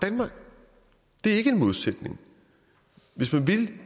det er ikke en modsætning hvis man vil